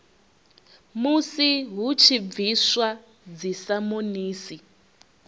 musi hu tshi bviswa dzisamonisi